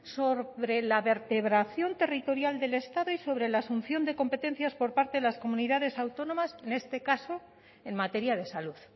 sobre la vertebración territorial del estado y sobre la asunción de competencias por parte de las comunidades autónomas en este caso en materia de salud